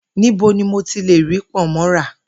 Níbo ni mo ti le rí pò̩nmó̩ ra?